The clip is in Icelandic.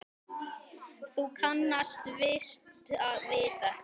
Þú kannast víst við þetta!